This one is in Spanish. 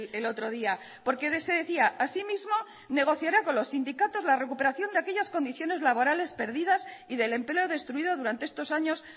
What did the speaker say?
el otro día porque de ese decía asimismo negociará con los sindicatos la recuperación de aquellas condiciones laborales perdidas y del empleo destruido durante estos años